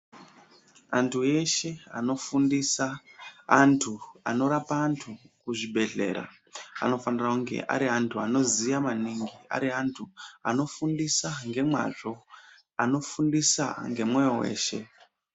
Antu eshe anofundisa antu anorapa antu kuzvibhedhlera, anofanira kunge ari antu anoziya maningi, ari antu anofundisa ngemwazvo anofundisa ngemwoyo weshe.